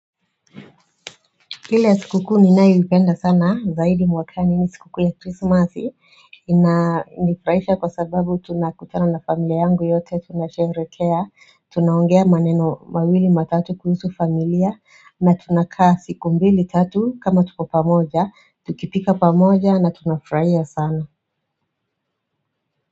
Kile sikukuu ninayoipenda sana zaidi mwakani ni sikukuu ya Krismasi ina nifraisha kwa sababu tunakutana na familia yangu yote, tunasherekea, tunaongea maneno mawili matatu kuhusu familia na tunakaa siku mbili tatu kama tuko pamoja, tukipika pamoja na tunafraia sana.